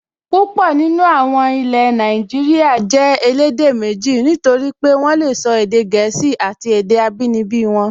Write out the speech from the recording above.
Púpọ̀ nínú àwọn ilẹ̀ Nàìjíríyà jẹ́ elédè méjì, nítorí pé wọ́n lè sọ èdè gẹ̀ẹ́sì àti èdè abínibí wọn